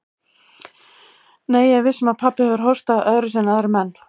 Nei, ég er viss um að pabbi hefur hóstað öðruvísi en aðrir menn.